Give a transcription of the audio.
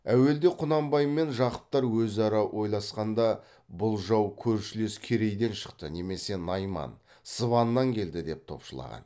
әуелде құнанбай мен жақыптар өзара ойласқанда бұл жау көршілес керейден шықты немесе найман сыбаннан келді деп топшылаған